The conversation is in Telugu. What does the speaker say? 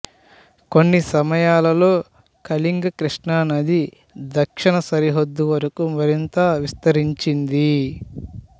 కొన్ని సమయాలలో కళింగ కృష్ణానది దక్షిణ సరిహద్దు వరకు మరింత విస్తరించింది